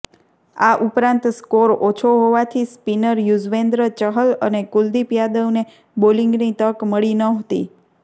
આ ઉપરાંત સ્કોર ઓછો હોવાથી સ્પિનર યૂઝવેન્દ્ર ચહલ અને કુલદીપ યાદવને બોલિંગની તક મળી નહોતી